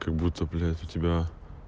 будто блять у тебя